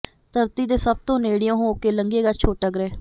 ਧਰਤੀ ਦੇ ਸਭ ਤੋਂ ਨੇੜਿਓਂ ਹੋ ਕੇ ਲੰਘੇਗਾ ਛੋਟਾ ਗ੍ਰਹਿ